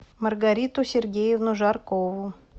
маргариту сергеевну жаркову